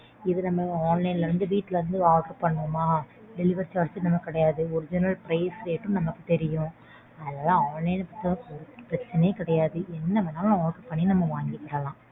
இதுல நம்ம online லேர்ந்து வீட்ல இருந்து order பண்றோமா delivery charge நமக்கு கிடையாது. Original price rate ம் நமக்கு தெரியும். அதனால online பொருத்தவரைக்கும் பிரச்சினையே கிடையாது. என்னவேணாலும் order பண்ணி நம்ம வாங்கிக்கலாம்